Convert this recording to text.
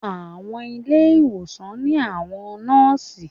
Àwọn ilé ìwòsàn ní àwọn Nóòsì